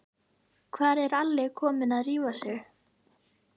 Hvað er Alli kommi að rífa sig?